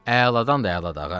Əladandır, əlada, ağa.